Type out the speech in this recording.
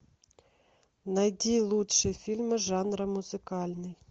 найди лучшие фильмы жанра музыкальный